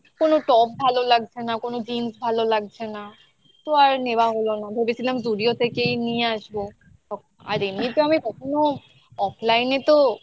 কোনো top ভালো লাগছে না, কোনো jeans ভালো লাগছে না তো তো আর নেওয়া হলো না ভেবেছিলাম Zudio থেকেই নিয়ে আসবো আর এমনিতে আমি কখনো offline এ তো